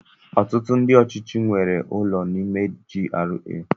Ọtụtụ ndị ọchịchị nwere ụlọ n'ime GRA.